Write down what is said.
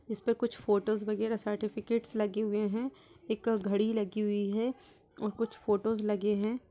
इस पे कुछ फोटोस वगैरह सर्टिफिकेट्स लगे हुए हैं। एक घड़ी लगी हुई है और कुछ फोटोस लगे हैं।